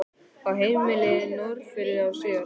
Á heimilið á Norðfirði og síðar í